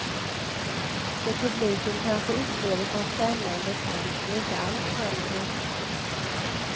Det publiken kanske upplever som spännande kamp går inte alls fram i rutan.